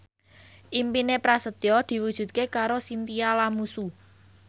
impine Prasetyo diwujudke karo Chintya Lamusu